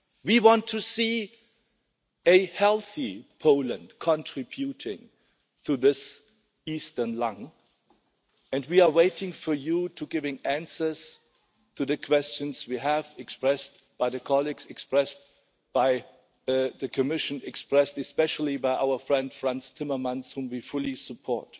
We want to see a healthy Poland contributing to this eastern lung, and we are waiting for you to give answers to the questions expressed by colleagues, expressed by the Commission, expressed especially by our friend Frans Timmermans, whom we fully support.